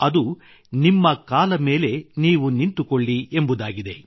ಅದು ನಿಮ್ಮ ಕಾಲ ಮೇಲೆ ನೀವು ನಿಂತುಕೊಳ್ಳಿ ಎಂಬುದಾಗಿದೆ